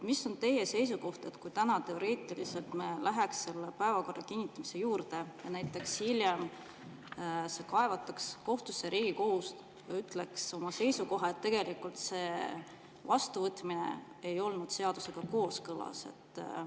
Mis on teie seisukoht, kui me täna teoreetiliselt läheks selle päevakorra kinnitamise juurde ja näiteks hiljem kaevatakse see kohtusse ja Riigikohus ütleks oma seisukohana, et tegelikult selle vastuvõtmine ei olnud seadusega kooskõlas?